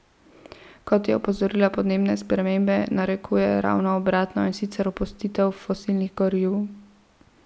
Kot je opozorila, podnebne spremembe narekujejo ravno obratno, in sicer opustitev fosilnih goriv.